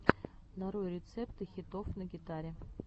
нарой рецепты хитов на гитаре